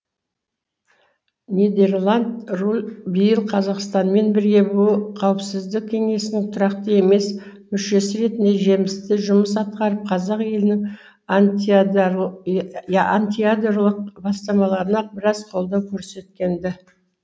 нидерланд биыл қазақстанмен бірге бұұ қауіпсіздік кеңесінің тұрақты емес мүшесі ретінде жемісті жұмыс атқарып қазақ елінің антиядролық бастамаларына біраз қолдау көрсеткенді